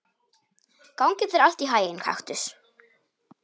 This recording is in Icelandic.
Gangi þér allt í haginn, Kaktus.